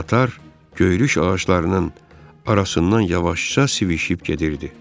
Qatar göyrüş ağaclarının arasından yavaşca sivişib gedirdi.